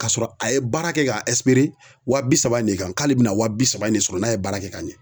Kasɔrɔ a ye baara kɛ ka wa bi saba in de kan k'ale bina wa bi saba in de sɔrɔ n'a ye baara kɛ ka ɲɛ.